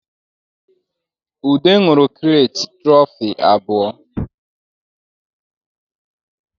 Ude nwụrụ kirete tụrọfi abụọ